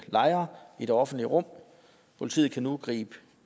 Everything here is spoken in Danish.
lejre i det offentlige rum politiet kan nu gribe